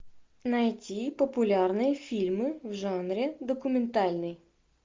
найти популярные фильмы в жанре документальный